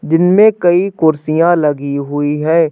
दिन में कई कुर्सियाँ लगी हुई है।